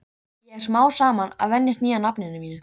Ég er smám saman að venjast nýja nafninu mínu.